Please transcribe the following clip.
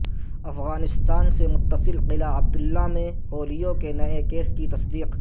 افغانستان سے متصل قلعہ عبداللہ میں پولیو کے نئے کیس کی تصدیق